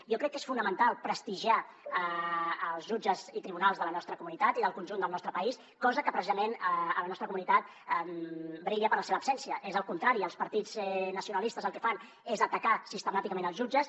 jo crec que és fonamental prestigiar els jutges i tribunals de la nostra comunitat i del conjunt del nostre país cosa que precisament a la nostra comunitat brilla per la seva absència és el contrari els partits nacionalistes el que fan és atacar sistemàticament els jutges